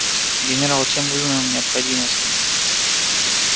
генерал чем вызвана необходимость в них